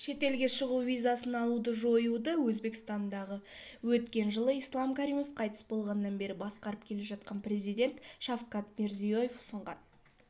шетелге шығу визасын алуды жоюды өзбекстанды өткен жылы ислам каримов қайтыс болғаннан бері басқарып келе жатқан президент шавкат мирзияев ұсынған